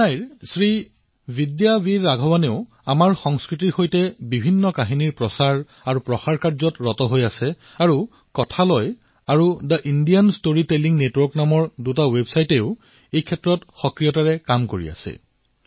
চেন্নাইৰ শ্ৰীবিদ্যা বীৰ ৰাঘৱনো আমাৰ সংস্কৃতিৰ সৈতে জড়িত কাহিনীসমূহক প্ৰচাৰিত প্ৰসাৰিত কৰাৰ দিশত অগ্ৰসৰ গৈছে আৰু তেওঁ কথালয় তথা the Indian story telling network নামৰ দুটা ৱেবছাইটৰ জৰিয়তে সুন্দৰ কাম কৰি আছে